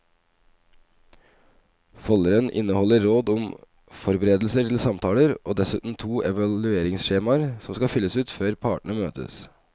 Folderen inneholder råd om forberedelser til samtalen og dessuten to evalueringsskjemaer som skal fylles ut før partene møtes.